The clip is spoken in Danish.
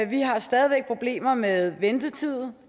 vi har stadig væk problemer med ventetid